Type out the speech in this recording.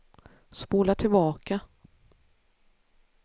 spola tillbaka